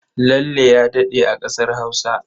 Lalle ya daɗe a ƙasar Hausa.